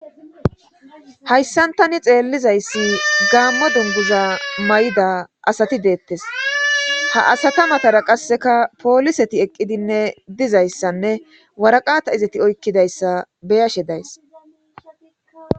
Hayssantani xeellizayssi gaamma dungiza may'ida asati deettes ha asata matara qasseka pooliseti eqqidinne dizayssanne waraqata izati oykkidayssa beyashe days.